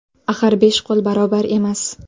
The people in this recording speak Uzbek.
Axir besh qo‘l barobar emas.